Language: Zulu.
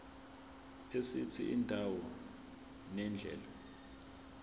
esithi indawo nendlela